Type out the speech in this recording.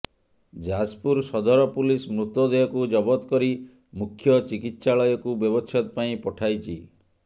ଯାଜପୁର ସଦର ପୁଲିସ ମୃତଦେହକୁ ଜବତ କରି ମୁଖ୍ୟ ଚିକିତ୍ସାଳୟକୁ ବ୍ୟବଛେଦ ପାଇଁ ପଠାଇଛି